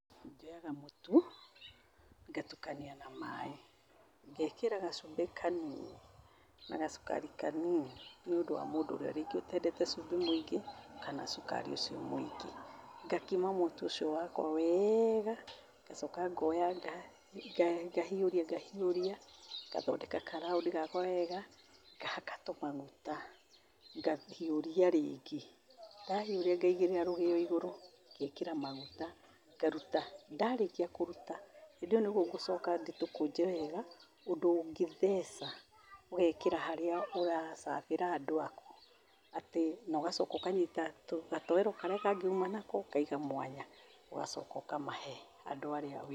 Njoyaga mũtu, ngatukania na maaĩ, ngeekira gacumbĩ kanini na gacukari kanini nĩũndũ wa mũndũ ũrĩa rĩngĩ ũteendete cumbĩ mũingĩ kana cukari ũcio mũingi. Ngakima mũtu ũcio wakwa wega ngacoka ngooya ngahiũria ngahiũria, ngathondeka karaũndi gakwa wega, ngahaka tũmaguta. Ngahiũria rĩngĩ. Ndahiũria, ngaĩgĩrĩra rũgeo igũrũ, ngeekĩra maguta, ngaruta. Ndarĩkia kũruta, hĩndĩ ĩyo nĩguo ngũcoka ndĩtũkũnje wega ũndũ ũngĩtheca, ũgeekĩra harĩa ũrasabĩra andũakũ. Atĩ na ũgacoka ũkanyita gatoero karĩa kangĩ uuma nako, ũkaiga mwanya. Ũgacoka ũkamahe andũ arĩa wĩnao.